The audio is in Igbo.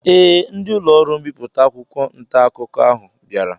Ee, ndị ụlọọrụ mbipụta akwụkwọ ntaakụkọ ahụ bịara